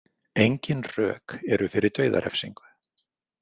Engin rök eru fyrir dauðarefsingu.